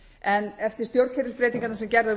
en eftir stjórnkerfisbreytingarnar sem gerðar